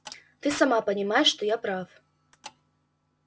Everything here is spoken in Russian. ты сама понимаешь что я прав